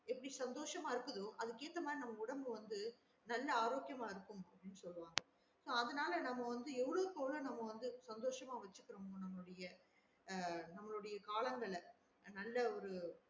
எப்டி சந்தோசம இருக்குதோ அதுக்கு ஏத்த மாறி உடம்பு வந்து நல்ல ஆரோக்கியாம இருக்கும் அப்டின்னு சொல்லுவாங்க so அதுனால நம்ம வந்து எவ்ளோவுக்கு எவ்ளோ நம்ம வந்து சந்தோசமா வச்சுக்குரோமோ நம்மலுடைய ஆஹ் நம்மலுடைய காலங்கள நல்ல ஒரு